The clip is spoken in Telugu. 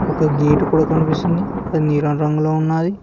ఒక గేటు కూడా కనిపిస్తుంది అది నీలం రంగులో ఉన్నాది.